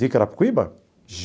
De Carapicuíba?